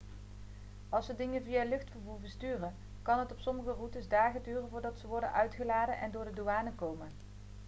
als ze dingen via luchtvervoer versturen kan het op sommige routes dagen duren voordat ze worden uitgeladen en door de douane komen